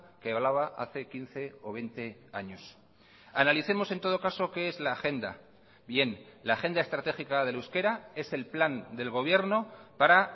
que hablaba hace quince o veinte años analicemos en todo caso qué es la agenda bien la agenda estratégica del euskera es el plan del gobierno para